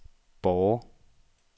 Borre